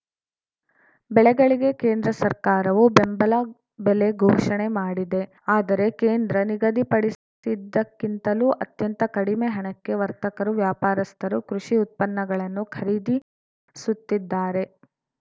ಬೆಳೆಗಳಿಗೆ ಕೇಂದ್ರ ಸರ್ಕಾರವು ಬೆಂಬಲ ಬೆಲೆ ಘೋಷಣೆ ಮಾಡಿದೆ ಆದರೆ ಕೇಂದ್ರ ನಿಗದಿಪಡಿಸಿದ್ದಕ್ಕಿಂತಲೂ ಅತ್ಯಂತ ಕಡಿಮೆ ಹಣಕ್ಕೆ ವರ್ತಕರು ವ್ಯಾಪಾರಸ್ಥರು ಕೃಷಿ ಉತ್ಪನ್ನಗಳನ್ನು ಖರೀದಿಸುತ್ತಿದ್ದಾರೆ